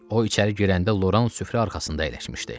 O içəri girəndə Loran süfrə arxasında əyləşmişdi.